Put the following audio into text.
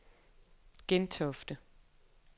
Gentofte